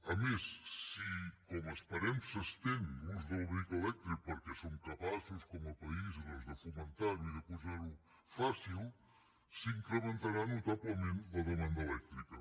a més si com esperem s’estén l’ús del vehicle elèctric perquè som capaços com a país doncs de fomentar ho i de posar ho fàcil s’incrementarà notablement la demanda elèctrica